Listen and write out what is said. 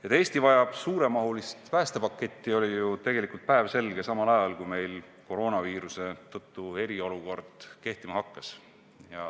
Et Eesti vajab suuremahulist päästepaketti, oli ju tegelikult päevselge kohe, kui meil koroonaviiruse tõttu eriolukord kehtima hakkas.